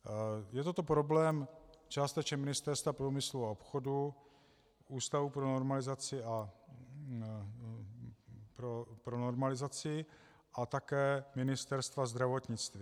Je to problém částečně Ministerstva průmyslu a obchodu, Ústavu pro normalizaci a také Ministerstva zdravotnictví.